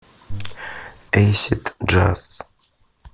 эйсид джаз